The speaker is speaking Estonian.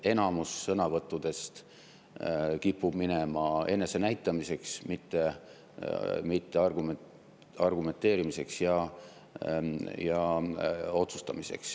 Enamus sõnavõttudest kipub minema enese näitamiseks, mitte argumenteerimiseks ja otsustamiseks.